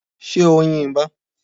Ṣé o yin ìbo?